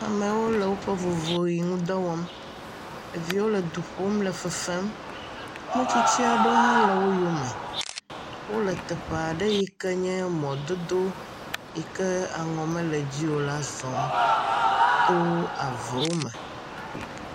Amewo le woƒe vovoʋi ŋu dɔ wɔm. Ɖeviwo le du ƒum le fefem. Metsitsi aɖewo le wo yome. Wole teƒe aɖe yi ke nye mɔdodo yi ke aŋɔ mele edzi o la zɔm to avewo me.